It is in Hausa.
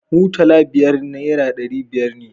Mutala biyar nera ɗari ne